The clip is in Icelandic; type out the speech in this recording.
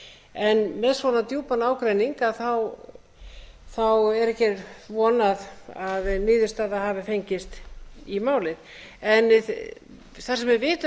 en með svona djúpan ágreining er ekki von að niðurstaða hafi fengist í málið en þar sem við vitum